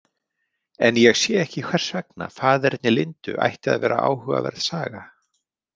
En ég sé ekki hvers vegna faðerni Lindu ætti að vera áhugaverð saga.